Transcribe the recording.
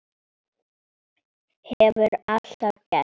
Hefur alltaf gert.